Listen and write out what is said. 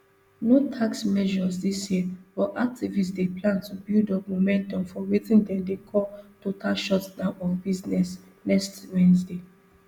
no tax measures dis year but activists dey plan to build up momentum for wetin dem dey call total shutdown of business next wednesday